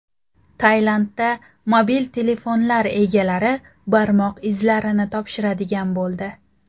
Tailandda mobil telefonlar egalari barmoq izlarini topshiradigan bo‘ldi.